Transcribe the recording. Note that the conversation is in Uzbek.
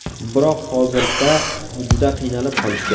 Biroq hozirda juda qiynalib qolishgan.